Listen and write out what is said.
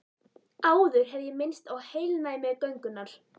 Áður hef ég minnst á heilnæmi göngunnar.